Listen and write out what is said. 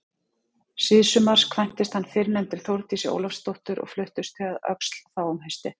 Síðsumars kvæntist hann fyrrnefndri Þórdísi Ólafsdóttur og fluttust þau að Öxl þá um haustið.